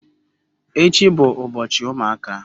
Echi bu ubochi umuaka.